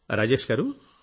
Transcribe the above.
రాజేష్ గారూ